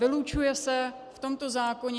Vylučuje se v tomto zákoně...